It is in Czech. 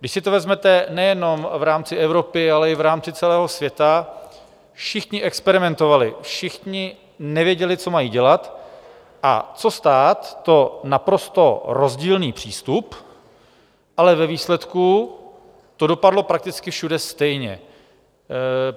Když si to vezmete nejenom v rámci Evropy, ale i v rámci celého světa, všichni experimentovali, všichni nevěděli, co mají dělat, a co stát, to naprosto rozdílný přístup, ale ve výsledku to dopadlo prakticky všude stejně.